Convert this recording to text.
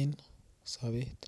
en sobet.